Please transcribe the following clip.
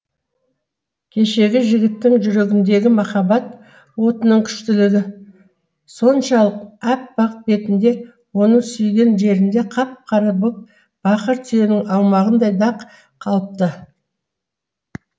кешегі жігіттің жүрегіндегі махаббат отының күштілігі соншалық аппақ бетінде оның сүйген жерінде қап қара боп бақыр тиіннің аумағындай дақ қалыпты